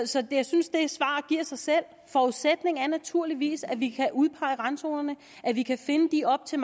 så jeg synes det svar giver sig selv forudsætningen er naturligvis at vi kan udpege randzonerne at vi kan finde de op til